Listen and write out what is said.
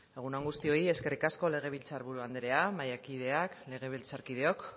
egun on guztioi eskerrik asko legebiltzar buru anderea mahaikideak legebiltzarkideok